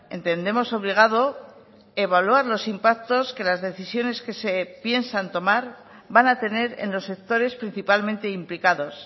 entendemos obligado evaluar los impactos que las decisiones que se piensan tomar van a tener en los sectores principalmente implicados